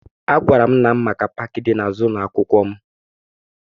Agwara m nna m maka paakị dị n'azụ ụlọ akwụkwọ m